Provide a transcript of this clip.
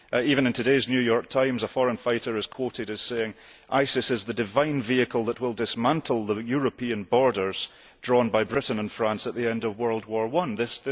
Even in today's New York Times a foreign fighter is quoted as saying ISIS is the divine vehicle that will dismantle the European borders drawn by Britain and France at the end of World War I'.